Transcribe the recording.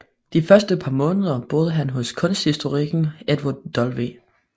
De første par måneder boede han hos kunsthistorikeren Edward W